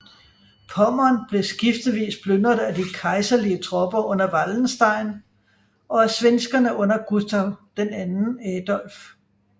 Pommern blev skiftevis plyndret af de kejserlige tropper under Wallenstein og svenskerne under Gustav II Adolf